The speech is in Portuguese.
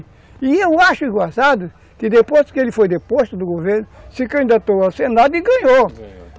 E eu acho engraçado que depois que ele foi deposto do governo, se candidatou ao Senado e ganhou, ganhou.